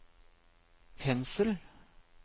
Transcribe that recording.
pensel